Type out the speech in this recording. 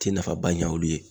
Ti nafaba ɲa olu ye.